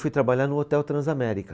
Fui trabalhar no Hotel Transamérica.